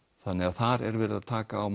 þar er verið að taka á